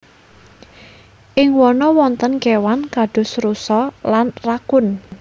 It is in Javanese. Ing wana wonten kéwan kados rusa lan rakun